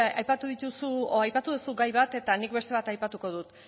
aipatu duzu gai bat eta nik beste bat aipatuko dut